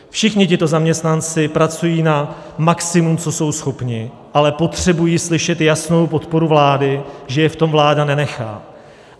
Všichni tito zaměstnanci pracují na maximu, co jsou schopni, ale potřebují slyšet jasnou podporu vlády, že je v tom vláda nenechá.